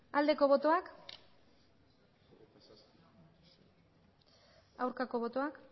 aldeko botoak aurkako botoak